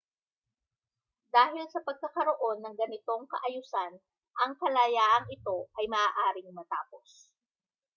dahil sa pagkakaroon ng ganitong kaayusan ang kalayaang ito ay maaaring matapos